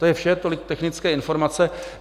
To je vše, tolik technické informace.